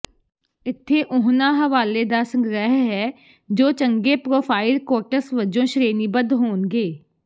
ਇੱਥੇ ਉਹਨਾਂ ਹਵਾਲੇ ਦਾ ਸੰਗ੍ਰਹਿ ਹੈ ਜੋ ਚੰਗੇ ਪ੍ਰੋਫਾਇਲ ਕੋਟਸ ਵਜੋਂ ਸ਼੍ਰੇਣੀਬੱਧ ਹੋਣਗੇ